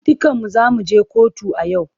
Dukanmu za mu je kotu a yau.